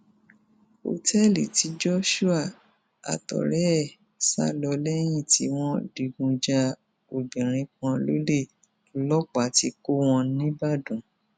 òtẹẹlì tí joshua àtọrẹ ẹ sá lọ lẹyìn tí wọn digun ja obìnrin kan lólè lọlọpàá ti kọ wọn níbàdàn